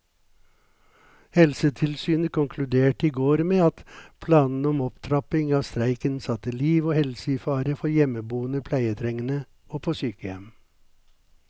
Helsetilsynet konkluderte i går med at planene om opptrapping av streiken satte liv og helse i fare for hjemmeboende pleietrengende og på sykehjem.